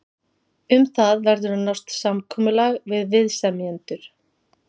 Um það verður að nást samkomulag við viðsemjendur.